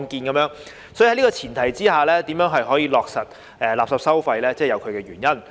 所以，在這個前提下，落實垃圾收費有其原因。